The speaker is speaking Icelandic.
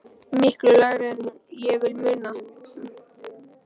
Miklu lægra en ég vil muna.